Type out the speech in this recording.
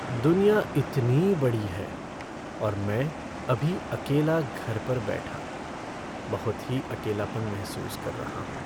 दुनिया इतनी बड़ी है और मैं अभी अकेला घर पर बैठा, बहुत ही अकेलापन महसूस कर रहा हूँ।